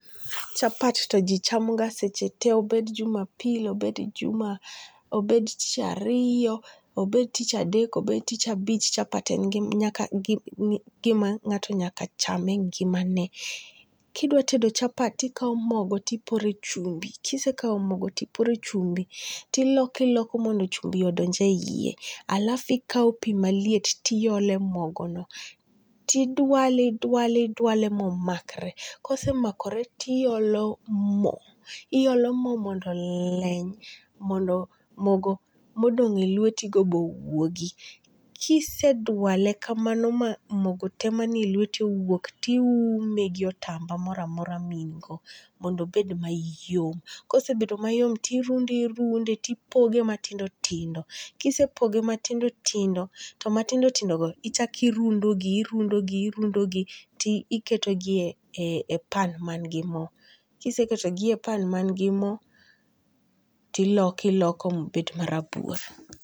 Chapat to ji chamoga sechete, obed jumapili, tich ariyo , abed tich adek, obed tich abich, chapat en gima nga'to chame e ngimane, kidwa tedo chapat tikau mogo tiporo e chumbi, kise kau mogo tipore chumbi tiloke iloke mondo chumbi odonje hiye alafu ikau pi maliet tiole mogono, ti dwale dwale dwale momakre kosemakore tiolo mo, iolo mo mondo leny mondo mogo modonge' lwetigo bowuogi, kisedwale kamano ma mogo te manie lweti owuok tiume gi otamba gi otamba mora mora mihiko mondo obed mayom, kosebedo mayom tirunde irunde tipoge matindo tindo, kise poge matindo tindo, to matindo tindogo ichaki runde irundogi irundogi ti iketogi e pan man gi mo, kiseketogie pan mangi mo tiloko iloko ma obed marabuor